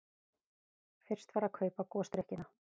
Fyrst var að kaupa gosdrykkina.